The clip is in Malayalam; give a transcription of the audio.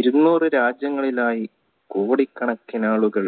ഇരുന്നൂറ് രാജ്യങ്ങളിലായി കോടിക്കണക്കിനാളുകൾ